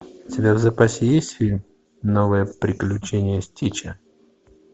у тебя в запасе есть фильм новые приключения стича